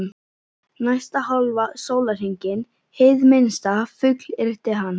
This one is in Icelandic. Næsta hálfa sólarhringinn, hið minnsta, fullyrti hann.